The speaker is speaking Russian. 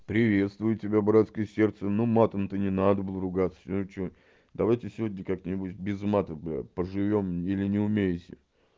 приветствую тебя братское сердце ну матом ты не надо был ругаться сегодня что давайте сегодня как-нибудь без мата поживём или не умеете